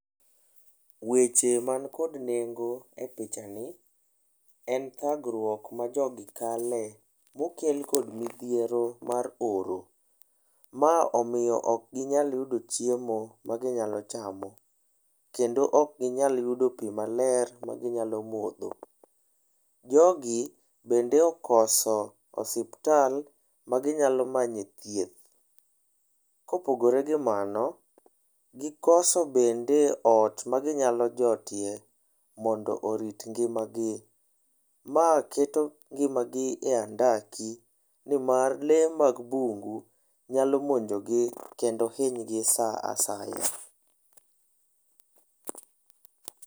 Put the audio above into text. Weche man kod nengo e pichani, en thagruok ma jogi kale, mokel kod midhiero mar oro. Ma omiyo ok ginyal yudo chiemo ma ginyalo chamo, kendo ok ginyal yudo pi maler ma ginyalo modho. Jogi bende okoso osiptal ma ginyalo manyo e thieth. Kopogore gi mano, gikoso bende ot ma ginyalo jotie mondo oorit ngimagi. Ma keto ngimagi e andaki ni mar lee mag bungu nyalo monjogi kendo hinygi sa asaya.